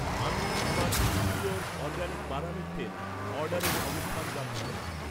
আমি আমার, Nutriorg organic বাদামের তেল অর্ডারের অবস্থান জানতে চাই